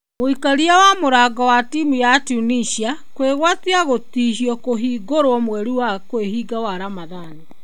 Mũikaria wa mũrango wa timũ ya Tunisia kũĩgũatia gũtihio kũhingoro mweri wa kwĩhinga wa Ramadhan.